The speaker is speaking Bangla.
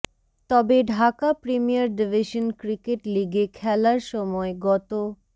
তবে ঢাকা প্রিমিয়ার ডিভিশন ক্রিকেট লিগে খেলার সময় গত